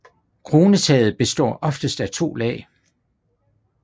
Kronetaget består oftest af to lag